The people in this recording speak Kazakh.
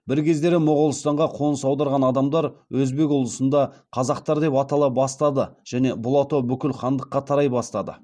бір кездері моғолстанға қоныс аударған адамдар өзбек ұлысында қазақтар деп атала бастады және бұл атау бүкіл хандыққа тарай бастады